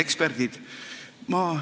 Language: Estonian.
Eksperdid!